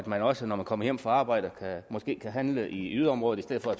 man også når man kommer hjem fra arbejde kan handle i yderområder i stedet for at